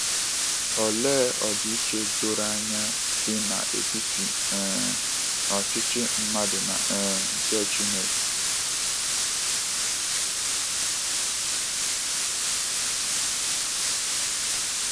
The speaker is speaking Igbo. Olee ọdịiche doro anya dị n’etiti um ọchịchị mmadụ na um nke Chineke!.